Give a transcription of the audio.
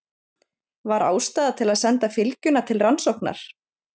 Var ástæða til að senda fylgjuna til rannsóknar?